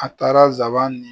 A taara nsaban ni